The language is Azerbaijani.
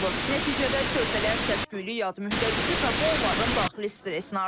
Nəticədə körpələr səs-küylü yad mühitə düşür və bu onların daxili stressini artırır.